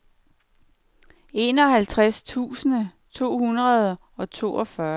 enoghalvtreds tusind to hundrede og toogfyrre